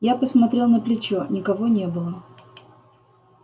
я посмотрел на плечо никого не было